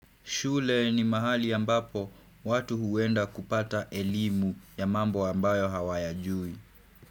Shule ni mahali ambapo watu huenda kupata elimu ya mambo ambayo hawayajui.